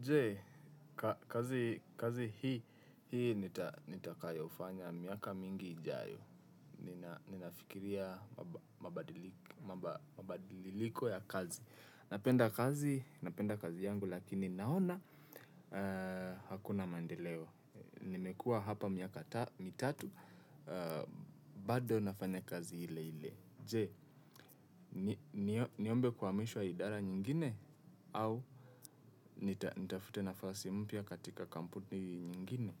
Jee, kazi hii nitakayofanya miaka mingi ijayo. Ninafikiria mabadiliko ya kazi. Napenda kazi yangu lakini naona hakuna maendeleo. Nimekua hapa miaka mitatu bado nafanya kazi ile ile. Je, niombe kuamishwa idara nyingine au nitafute nafasi mpya katika kampuni nyingine.